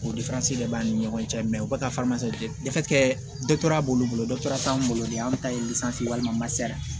O de b'an ni ɲɔgɔn cɛ o bɛ ka kɛ dɔtɔrɔya b'olu bolo dɔ t'an bolo de anw ta ye ye walima